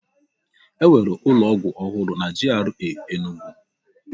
E nwere ụlọ ọgwụ ọhụrụ na GRA Enugwu